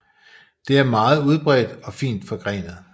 Det er meget udbredt og fint forgrenet